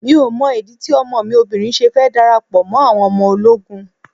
Mi ò mọ ìdí tí ọmọ mi obìnrin ṣe fẹ́ darapọ̀ mọ́ àwọn ọmọ ológun.